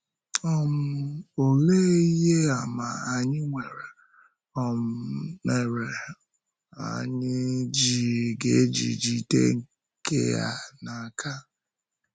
um Òlee ihe àmà anyị nwere um mere um anyị ga-eji jide nke a n’aka?